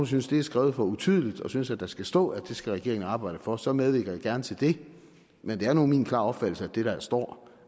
synes det er skrevet for utydeligt og synes at der skal stå at det skal regeringen arbejde for så medvirker jeg gerne til det men det er nu min klare opfattelse af det der står